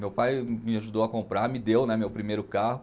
Meu pai me ajudou a comprar, me deu né meu primeiro carro.